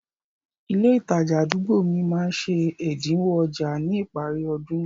Ilé ìtajà àdúgbò mi máá ń ṣe ẹ̀dínwó ọjà ní ìparí ọdún